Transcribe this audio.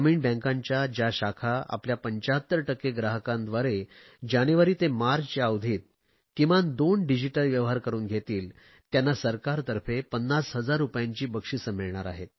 ग्रामीण बँकांच्या ज्या शाखा आपल्या 75 टक्के ग्राहकांद्वारे जानेवारी ते मार्च या अवधीत किमान दोन डिजिटल व्यवहार करुन घेतील त्यांना सरकारतर्फे 50000 रुपयांची बक्षिसे मिळणार आहेत